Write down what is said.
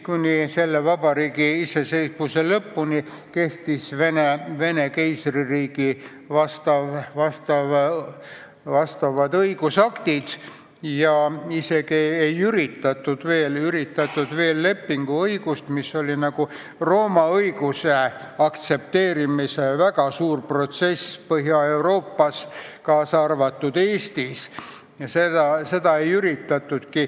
Kuni selle vabariigi iseseisvuse lõpuni kehtisid Vene keisririigi vastavad õigusaktid ja isegi ei üritatud juurutada veel lepinguõigust, mis oli nagu Rooma õiguse aktsepteerimise väga suure protsessi viimane osa Põhja-Euroopas, kaasa arvatud Eestis.